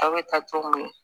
A bɛ taa cogo min na